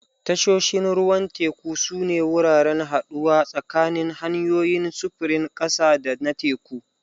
Tashoshin ruwan teku sune wuraren haɗuwa tsakanin hanyoyin sufurin ƙasa da na teku.